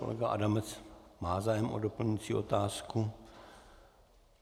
Kolega Adamec má zájem o doplňující otázku.